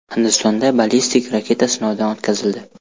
Hindistonda ballistik raketa sinovdan o‘tkazildi.